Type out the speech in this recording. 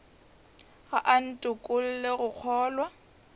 ga a ntokolle go kgolwa